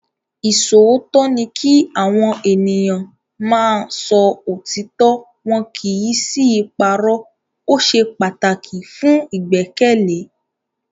Ìṣòótọ́ ni kí Àwọn ènìyàn máa ń sọ òtítọ́ wọn kì í sì í parọ́. O ṣe pataki fun igbẹkẹle.